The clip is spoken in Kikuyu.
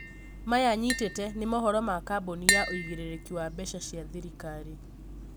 maya nyitĩte nĩ mohoro ma kambũni ya ũigĩrĩrĩki wa mbeca cĩa thirikari